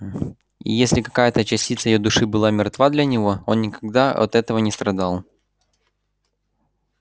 и если какая-то частица её души была мертва для него он никогда от этого не страдал